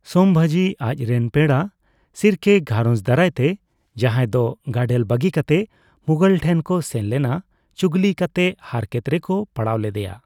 ᱥᱚᱢᱵᱷᱟᱡᱤ ᱟᱡᱨᱮᱱ ᱯᱮᱲᱟ, ᱥᱤᱨᱠᱮ ᱜᱷᱟᱨᱚᱧᱡᱽ ᱫᱟᱨᱟᱭᱛᱮ ᱡᱟᱱᱦᱟᱭ ᱰᱚ ᱜᱟᱰᱮᱞ ᱵᱟᱹᱜᱤ ᱠᱟᱛᱮ ᱢᱩᱜᱷᱚᱞ ᱴᱷᱮᱱ ᱠᱚ ᱥᱮᱱ ᱞᱮᱱᱟ ᱪᱩᱜᱞᱤ ᱠᱟᱛᱮ ᱦᱟᱨᱠᱮᱛ ᱨᱮᱠᱚ ᱯᱟᱲᱟᱣ ᱞᱮᱫᱮᱭᱟ ᱾